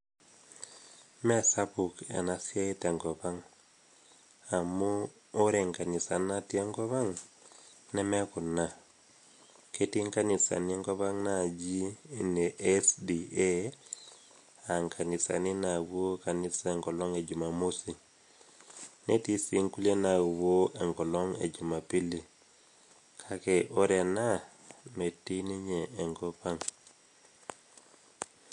mesapuk ena siai tenkop ang amu ore inkanisani natii enkop ang neme kuna ketii inkanisani enkop ang naji ine SDA ankanisani napuo kanisa enkolong e jumamosi netii sii nkulie napuo enkolong e jumapili kake ore ena metii ninye enkop ang.